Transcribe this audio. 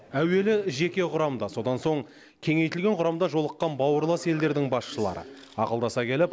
әуелі жеке құрамда содан соң кеңейтілген құрамда жолыққан бауырлас елдердің басшылары ақылдаса келіп